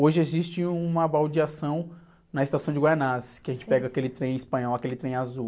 Hoje existe uma baldeação na estação de Guaianazes, que a gente pega aquele trem espanhol, aquele trem azul.